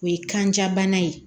O ye kanja bana ye